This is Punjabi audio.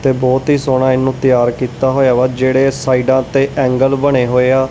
ਤੇ ਬਹੁਤ ਹੀ ਸੋਹਣਾ ਇਹਨੂੰ ਤਿਆਰ ਕੀਤਾ ਹੋਇਆ ਵਾ ਜਿਹੜੇ ਸਾਈਡਾਂ ਤੇ ਏਂਗਲ ਬਣੇ ਹੋਏ ਆ--